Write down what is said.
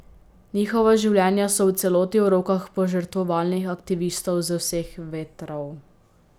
Njihova življenja so v celoti v rokah požrtvovalnih aktivistov z vseh vetrov.